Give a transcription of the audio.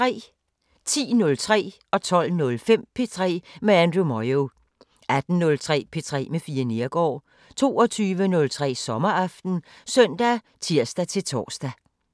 10:03: P3 med Andrew Moyo 12:05: P3 med Andrew Moyo 18:03: P3 med Fie Neergaard 22:03: Sommeraften (søn og tir-tor)